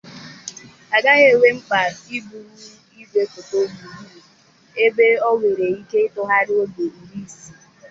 Agaghị enwe mkpa iburu igwefoto gburugburu ebe ọ nwere ike ịtụgharị ogo iri isii.